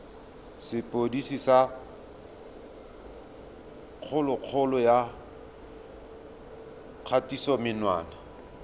sepodisi sa kgololo ya kgatisomenwa